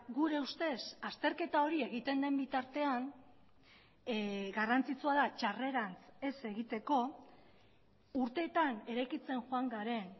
gure ustez azterketa hori egiten den bitartean garrantzitsua da txarrerantz ez egiteko urteetan eraikitzen joan garen